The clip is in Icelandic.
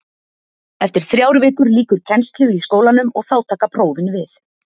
Eftir þrjár vikur lýkur kennslu í skólanum og þá taka prófin við.